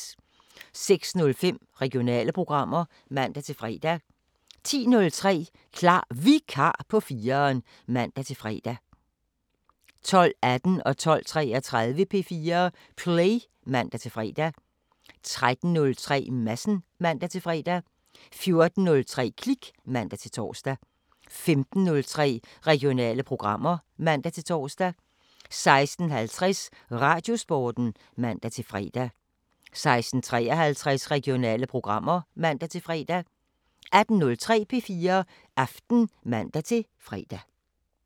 06:05: Regionale programmer (man-fre) 10:03: Klar Vikar på 4'eren (man-fre) 12:18: P4 Play (man-fre) 12:33: P4 Play (man-fre) 13:03: Madsen (man-fre) 14:03: Klik (man-tor) 15:03: Regionale programmer (man-tor) 16:50: Radiosporten (man-fre) 16:53: Regionale programmer (man-fre) 18:03: P4 Aften (man-fre)